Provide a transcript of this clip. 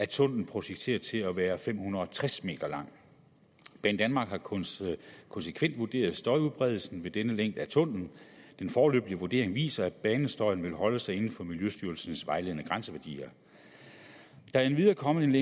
tunnellen projekteret til at være fem hundrede og tres m lang banedanmark har konsekvent konsekvent vurderet støjudbredelsen ved denne længde af tunnellen og den foreløbige vurdering viser at banestøjen vil holde sig inden for miljøstyrelsens vejledende grænseværdier der er endvidere kommet en